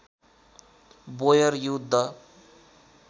बोयर युद्ध